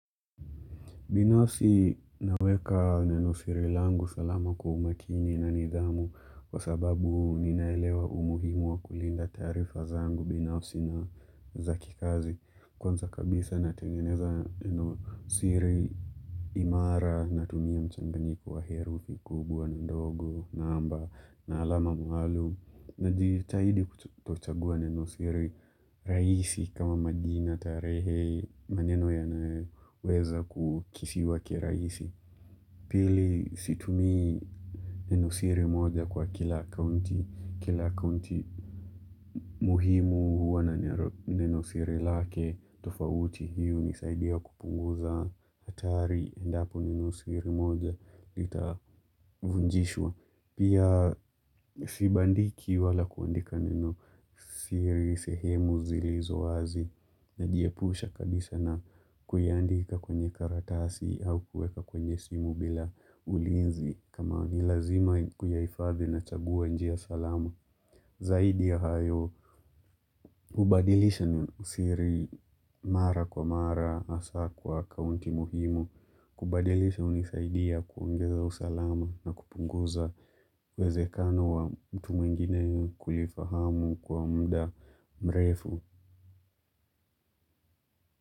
Binafsi naweka neno siri langu salama kwa umakini na nidhamu kwa sababu ninaelewa umuhimu wa kulinda taarifa zangu binafsi na za kikazi. Kwanza kabisa natengeneza neno siri imara na tumia mchanganyiko wa heru kubwa na ndogo na namba na alama maalum najitahidi kuchagua neno siri rahisi kama magina tarehe maneno ya naweza kukisiwa kiraisi. Pili situmi neno siri moja kwa kila kaunti. Kila kaunti muhimu huwa na neno siri lake tofauti hii hunisaidia kupunguza hatari endapo neno siri moja litavunjishwa. Pia sibandiki wala kuandika neno siri sehemu zilizo wazi najiepusha kabisa na kuiandika kwenye karatasi au kueka kwenye simu bila ulinzi kama ni lazima kuyaifadhi nachagua njia salama. Zaidi ya hayo, kubadilisha neno siri mara kwa mara asa kwa kaunti muhimu, kubadilisha hunisaidia kuongeza usalama na kupunguza uwezekano wa mtu mwingine kulifahamu kwa mda mrefu.